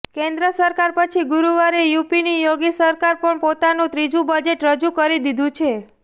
કેન્દ્ર સરકાર પછી ગુરૂવારે યુપીની યોગી સરકારે પણ પોતાનું ત્રીજું બજેટ રજૂ કરી દીધું છે